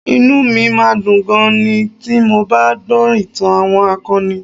Inú mi máa ń dùn gan-an ni ti mo bá ń gbọ́ ìtàn àwọn akọni